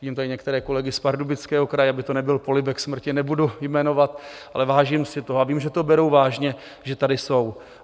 Vidím tady některé kolegy z Pardubického kraje - aby to nebyl polibek smrti, nebudu jmenovat, ale vážím si toho, a vím, že to berou vážně, že tady jsou.